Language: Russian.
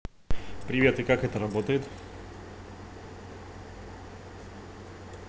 привет и как это работает